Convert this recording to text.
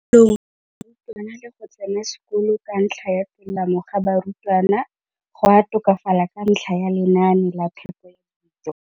kolong ga barutwana le go tsena sekolo ka tolamo ga barutwana go a tokafala ka ntlha ya lenaane la phepo ya dijo.